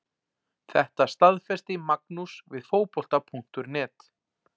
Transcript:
Þetta staðfesti Magnús við Fótbolta.net.